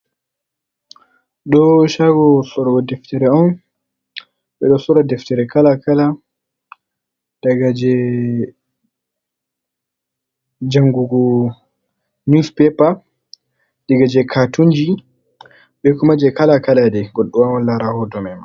Ɗo shago slro ɗeftre on.Beɗo sora ɗeftere kala-kala .ɗaga jangugu neuspapa. Ɗaga je katunji bai kuma jai kala-kala ɗai goɗɗo wawan lara hoto maina..